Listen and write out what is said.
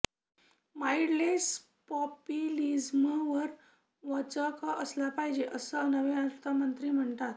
mindless पॉपुलिझमवर वचक आणला पाहिजे असं नवे अर्थमंत्री म्हणतायत